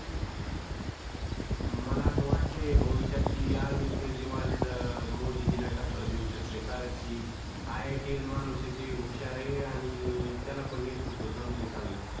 मला असं वाटतंय भविष्यात कि अरविंद केजरीवाल मोदीजीला टक्कर देऊ शकतंय कारण कि आयआयटीयन माणूस आहे ते हुशार आहे आणि त्याला पण नेतृत्व जमतंय चांगलं.